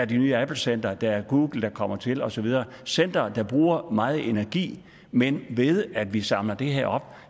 det nye applecenter der er google der kommer til og så videre er centre der bruger meget energi men ved at vi samler det her